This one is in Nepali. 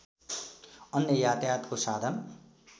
अन्य यातायातको साधन